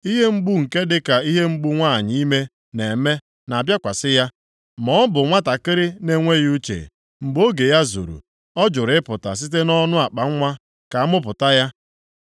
Ihe mgbu nke dịka ihe mgbu nwanyị ime na-eme na-abịakwasị ya; maọbụ nwantakịrị na-enweghị uche. Mgbe oge ya zuru, ọ jụrụ ịpụta site nʼọnụ akpanwa ka a mụpụta ya.